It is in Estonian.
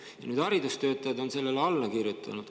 Ja haridustöötajad on sellele alla kirjutanud.